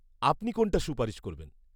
আপনি কোনটার সুপারিশ করবেন?